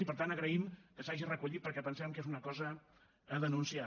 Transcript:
i per tant agraïm que s’hagi recollit perquè pensem que és una cosa a denunciar